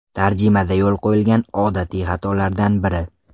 Tarjimada yo‘l qo‘yilgan odatiy xatolardan biri.